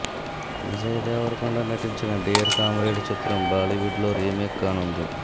విజయ్ దేవరకొండ నటించిన dear comrade చిత్రం Bollywood లో రీమేక్ కానుంది